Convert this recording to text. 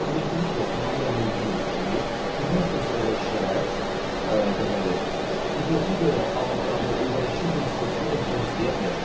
Qanunvericilik ilə tamamilə mümkündür ki, xidmət göstərən şəxs deməli, xidmətə görə alacağı ödənişin bir hissəsini öncədən istəyə bilər.